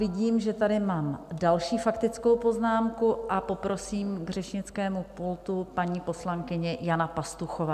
Vidím, že tady mám další faktickou poznámku, a poprosím k řečnickému pultu - paní poslankyně Jana Pastuchová.